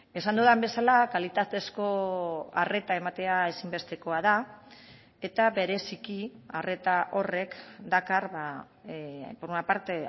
esan dudan bezala kalitatezko arreta ematea ezinbestekoa da eta bereziki arreta horrek dakar por una parte